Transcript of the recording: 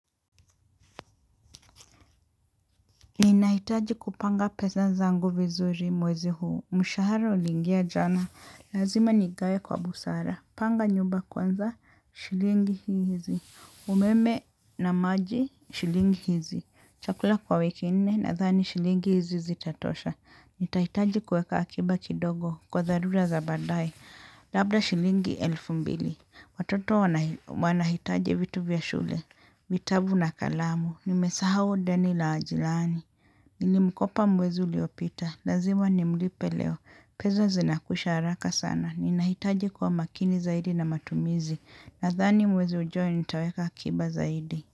Ninahitaji kupanga pesa zangu vizuri mwezi huu. Mshahara uliingia jana. Lazima nigawe kwa busara. Panga nyumba kwanza shilingi hizi. Umeme na maji shilingi hizi. Chakula kwa wiki nne nadhani shilingi hizi zitatosha. Nitahitaji kueka akiba kidogo kwa dharura za baadae. Labda shilingi elfu mbili. Watoto wanahitaji vitu vya shule. Vitabu na kalamu. Nimesahau deni la jirani. Nilimkopa mwezi uliopita, lazima nimlipe leo. Pesa zinakwisha haraka sana. Ninahitaji kwa makini zaidi na matumizi. Nathani mwezi ujao nitaweka akiba zaidi.